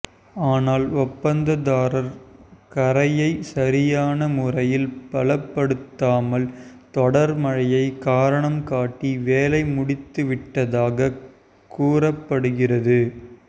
ஆனால் ஒப்பந்ததாரர் கரையை சரியான முறையில் பலப்படுத்தாமல் தொடர்மழையை காரணம்காட்டி வேலை முடித்துவிட்டதாக கூறப்படுகிறது